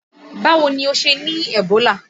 Báwo ni ó ṣe ní Ebola?